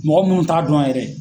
Mɔgɔ munnu t'a dɔn yan yɛrɛ.